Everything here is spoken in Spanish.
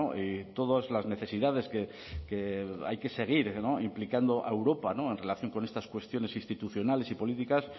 y todas las necesidades que hay que seguir implicando a europa en relación con estas cuestiones institucionales y políticas